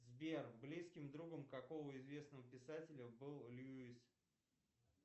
сбер близким другом какого известного писателя был льюис